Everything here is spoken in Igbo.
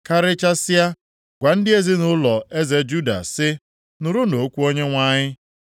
“Karịchasịa, gwa ndị ezinaụlọ eze Juda sị, ‘Nụrụnụ okwu Onyenwe anyị.